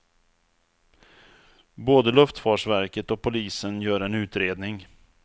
Både luftfartsverket och polisen gör en utredning.